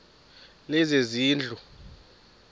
lezezindlu